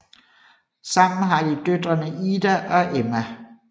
Sammen har de døtrene Ida og Emma